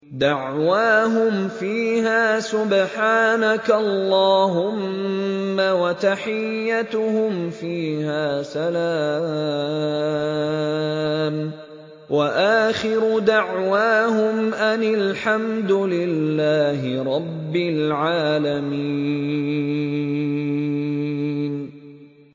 دَعْوَاهُمْ فِيهَا سُبْحَانَكَ اللَّهُمَّ وَتَحِيَّتُهُمْ فِيهَا سَلَامٌ ۚ وَآخِرُ دَعْوَاهُمْ أَنِ الْحَمْدُ لِلَّهِ رَبِّ الْعَالَمِينَ